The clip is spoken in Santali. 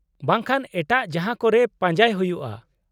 -ᱵᱟᱝ ᱠᱷᱟᱱ ᱮᱴᱟᱜ ᱡᱟᱦᱟᱸᱠᱚᱨᱮ ᱯᱟᱡᱟᱸᱭ ᱦᱩᱭᱩᱜᱼᱟ ᱾